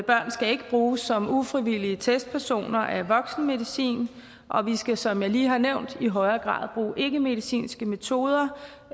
børn skal ikke bruges som ufrivillige testpersoner af voksenmedicin og vi skal som jeg lige har nævnt i højere grad bruge ikkemedicinske metoder